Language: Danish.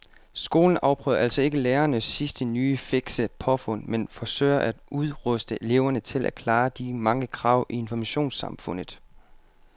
Skolen afprøver altså ikke lærernes sidste nye fikse påfund men forsøger at udruste eleverne til at klare de mange krav i informationssamfundet.